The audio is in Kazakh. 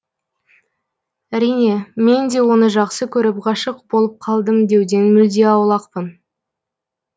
әрине мен де оны жақсы көріп ғашық болып қалдым деуден мүлде аулақпын